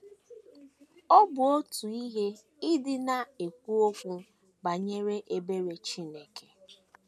Ọ bụ otu ihe ịdị na - ekwu okwu banyere ebere Chineke.